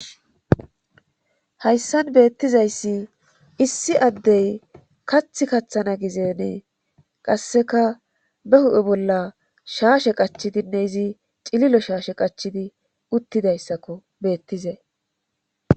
hayssan beettizayssi issi addey kath kaththana gizeenee qasseka be hu7e bolla shaashe qachidinne izi cililo shaashe qachidi uttidayssakko beettize